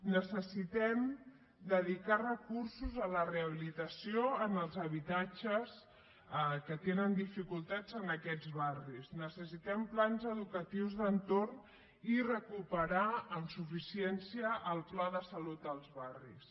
necessitem dedicar recursos a la rehabilitació dels habitatges que tenen dificultats en aquests barris necessitem plans educatius d’entorn i recuperar amb suficiència el pla de salut als barris